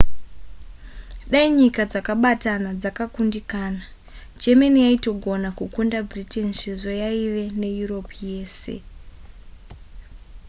dai nyika dzakabatana dzakakundikana germany yaitogona kukunda britain sezvo yaive neeurope yese